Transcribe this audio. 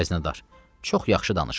Xəzinədar: “Çox yaxşı danışırsan.